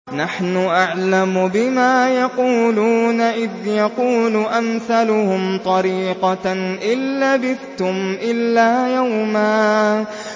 نَّحْنُ أَعْلَمُ بِمَا يَقُولُونَ إِذْ يَقُولُ أَمْثَلُهُمْ طَرِيقَةً إِن لَّبِثْتُمْ إِلَّا يَوْمًا